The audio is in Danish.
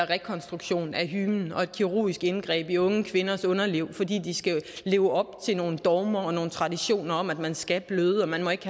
rekonstruktion af hymen og et kirurgisk indgreb i unge kvinders underliv fordi de skal leve op til nogle dogmer og nogle traditioner om at man skal bløde og at man ikke